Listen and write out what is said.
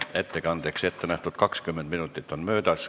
Ettekandeks ettenähtud 20 minutit on möödas.